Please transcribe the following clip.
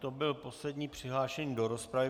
To byl poslední přihlášený do rozpravy.